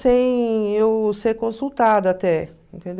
Sem eu ser consultada até, entendeu?